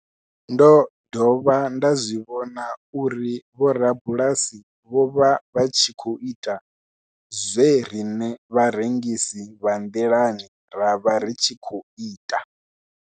Ndo dovha nda zwi vhona uri vhorabulasi vho vha vha tshi khou ita zwe riṋe vharengisi vha nḓilani ra vha ri tshi khou ita.